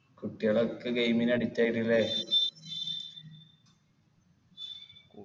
കുട്ടികളൊക്കെ game ന് addict ആയിട്ട് ല്ലേ